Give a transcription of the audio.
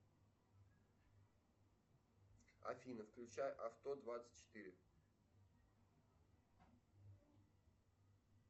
афина включай авто двадцать четыре